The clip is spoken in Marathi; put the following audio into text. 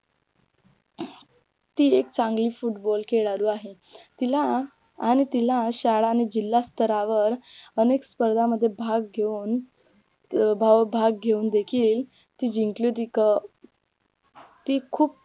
ती एक चांगली फुटबॉल खेळाडू आहे तिला आणि तिला शाळा आणि जिल्हास्तरावर अनेक स्पर्धामध्ये भाग घेऊन भाग घेऊन देखील ती जिंकली होती क ती खूप